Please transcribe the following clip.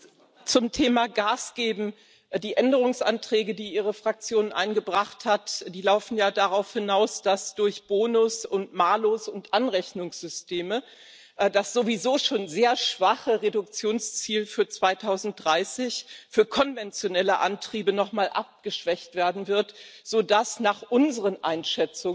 Zum Thema Gas geben Die Änderungsanträge, die Ihre Fraktion eingebracht hat, laufen ja darauf hinaus, dass durch Bonus und Malus und Anrechnungssysteme das sowieso schon sehr schwache Reduktionsziel für 2030 für konventionelle Antriebe nochmal abgeschwächt werden wird, so dass nach unseren Einschätzungen